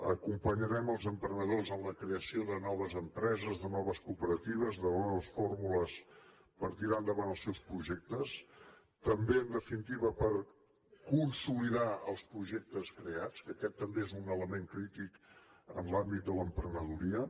acompanyarem els emprenedors en la creació de noves empreses de noves cooperatives de noves fórmules per tirar endavant els seus projectes també en definitiva per consolidar els projectes creats que aquest també és un element crític en l’àmbit de l’emprenedoria